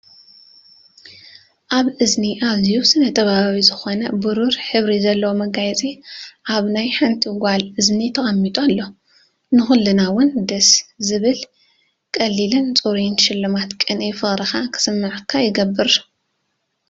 ኣብ እዝኒ ኣዝዩ ስነ-ጥበባዊ ዝኾነ ብሩር ሕብሪ ዘለዎ መጋየፂ ኣብ ናይ ሓንቲ ጓል እዝኒ ተቐሚጡ ኣሎ። ንኹልና ውን ደስ ዝብል ቀሊልን ጽሩይን ሽልማት ቅንኢ ፍቑርካ ክስምዓካ ይገብር።